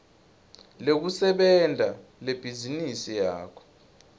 lekusebenta lebhizinisi yakho